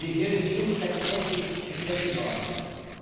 Viveu em mil setecentos e sessenta e nove.